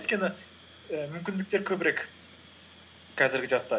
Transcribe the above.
өйткені і мүмкіндіктер көбірек қазіргі жаста